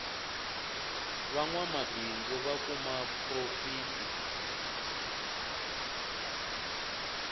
va nwamabindzu va kuma porofiti